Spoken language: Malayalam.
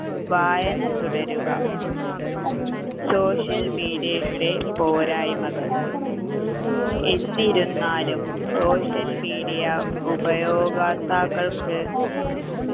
വായന തുടരുക social media യുടെ പോരായ്മകൾ എന്നിരുന്നാലും social media ഉപയോഗാക്താക്കൾക്